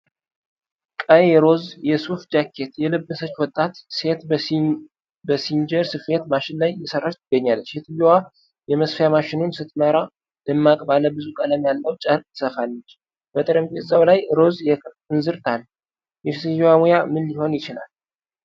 ቀይ ሮዝ የሱፍ ጃኬት የለበሰች ወጣት ሴት በሲንጀር ስፌት ማሽን ላይ እየሰራች ትገኛለች። ሴትየዋ የመስፊያ ማሽኑን ስትመራ፣ ደማቅ ባለ ብዙ ቀለም ያለው ጨርቅ ትሰፋለች፤ በጠረጴዛው ላይ ሮዝ የክር እንዝርት አለ፤ የሴትየዋ ሙያ ምን ሊሆን ይችላል?